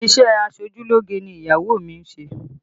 Isẹ aṣojúlógé ni ìyàwó mi ń ṣe